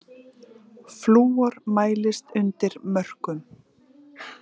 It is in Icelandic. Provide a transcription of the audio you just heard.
Flúor mælist undir mörkum